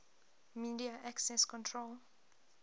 media access control